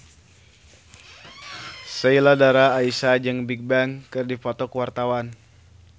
Sheila Dara Aisha jeung Bigbang keur dipoto ku wartawan